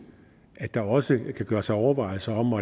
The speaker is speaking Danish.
at der også kan gøres overvejelser om